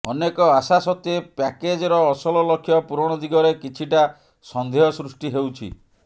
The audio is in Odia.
ଅନେକ ଆଶା ସତ୍ତ୍ୱେ ପ୍ୟାକେଜର ଅସଲ ଲକ୍ଷ୍ୟ ପୂରଣ ଦିଗରେ କିଛିଟା ସନ୍ଦେହ ସୃଷ୍ଟି ହେଉଛି